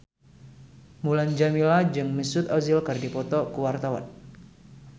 Mulan Jameela jeung Mesut Ozil keur dipoto ku wartawan